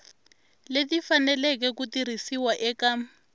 leti faneleke ku tirhisiwa eka